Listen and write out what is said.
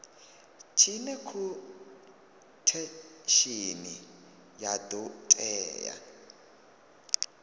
tshine khothesheni ya do tea